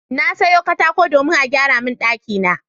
Na sayo katako domin a gyara min ɗakina.